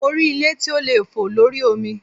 Mo rí ilé tí ó lè fò lórí omi.